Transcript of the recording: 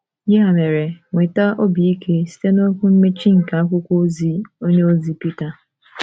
Ya mere, nweta obi ike site n’okwu mmechi nke akwụkwọ ozi onyeozi Pita: